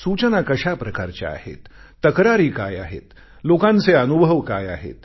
सूचना कशा प्रकारच्या आहेत तक्रारी काय आहेत लोकांचे अनुभव काय आहेत